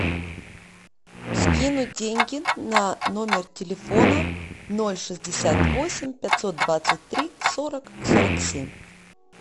скинуть деньги на номер телефона ноль шестьдесят восемь пятьсот двадцать три сорок сорок семь